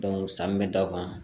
san bɛ da o kan